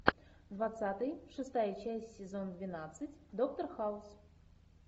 двадцатый шестая часть сезон двенадцать доктор хаус